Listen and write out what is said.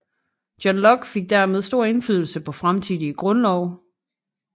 John Locke fik dermed stor indflydelse på fremtidige grundlove